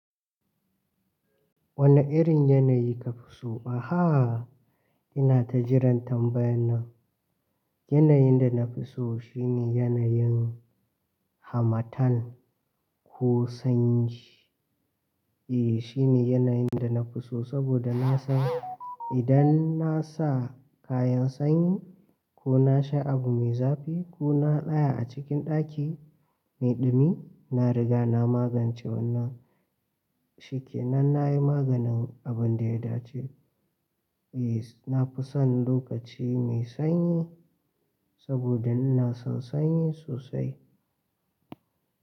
Wane irin yanayi ka fi so? Ina ta jiran tambayar nan. Yanayin da na fi so shine yanayin hamattan ko sanyi. E, shine yanayin da na fi so saboda na san idan na sa kayan sanyi ko na sha abu mai zafi ko na tsaya a cikin ɗaki mai ɗumi, na riga na magance wannan shikenan. Nan na yi maganin abun da ya dace. E, na fi son lokaci mai sanyi saboda ina son sanyi sosai.